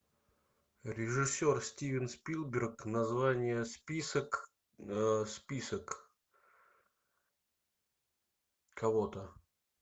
режиссер стивен спилберг название список список кого то